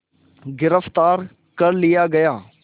गिरफ़्तार कर लिया गया